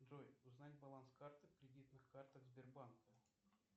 джой узнать баланс карты в кредитных картах сбербанка